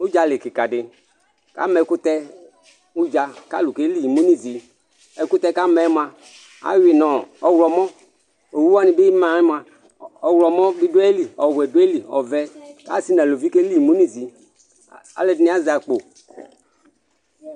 Udza lɩ kika di k'am'ɛkutɛ udzu k'alu keli imi n'izi, ɛkutɛ k'amɛ mua awui n'ɔ ɔwlɔmɔ, owu'ani bi ma'ɛ mua ɔwlɔmɔ bi du ayi lɩ ɔwuɛ bi du ayi lɩ, ɔʋɛ k'asi n'aluʋɩ ke lɩ imu n'izi, al'ɛdini azɛ akpo